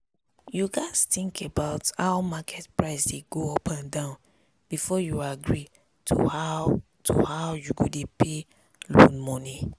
you gats think about how market price dey go up and down before you agree to how to how you go dey pay loan moni